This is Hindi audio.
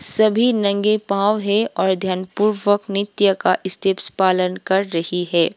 सभी नंगे पांव है और ध्यानपूर्वक नृत्य का स्टेप्स पालन कर रही है।